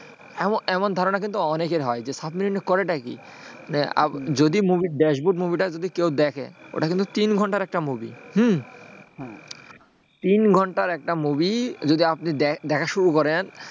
এমন ধারণা কিন্তু অনেকেরই হয় যে সাবমেরিনে করে কি? যদি ড্যাশবোর্ড মুভিটা কেউ দেখে ওটা কিন্তু তিন ঘন্টার একটা movie হম তিন ঘন্টার একটা movie যদি আপনি দেখা শুরু করেন,